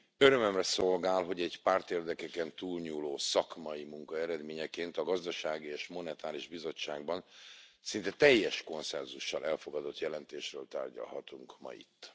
Örömömre szolgál, hogy egy pártérdekeken túlnyúló szakmai munka eredményeként a Gazdasági és Monetáris Bizottságban szinte teljes konszenzussal elfogadott jelentésről tárgyalhatunk ma itt.